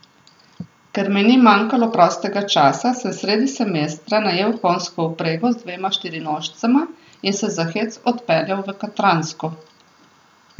Ker mi ni manjkalo prostega časa, sem sredi semestra najel konjsko vprego z dvema štirinožcema in se za hec odpeljal v Katransko.